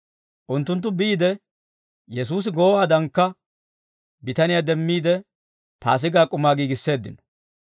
Unttunttu biide, Yesuusi goowaadankka bitaniyaa demmiide Paasigaa k'umaa giigisseeddino.